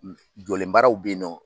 Jɔlenbaaraw bɛ yen nɔ